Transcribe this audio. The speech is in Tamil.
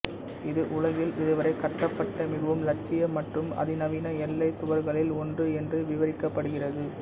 இது உலகில் இதுவரை கட்டப்பட்ட மிகவும் லட்சிய மற்றும் அதிநவீன எல்லை சுவர்களில் ஒன்று என்று விவரிக்கப்படுகிறது